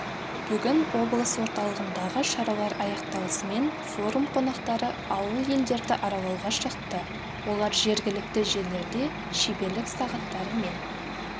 бүгін облыс орталығындағы шаралар аяқталысымен форум қонақтары ауыл-елдерді аралауға шықты олар жергілікті жерлерде шеберлік сағаттары мен